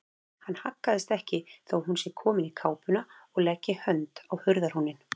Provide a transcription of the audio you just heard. Hann haggast ekki þó að hún sé komin í kápuna og leggi hönd á hurðarhúninn.